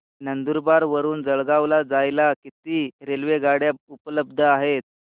नंदुरबार वरून जळगाव ला जायला किती रेलेवगाडया उपलब्ध आहेत